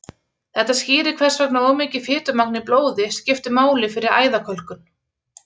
Þetta skýrir hvers vegna of mikið fitumagn í blóði skiptir máli fyrir æðakölkun.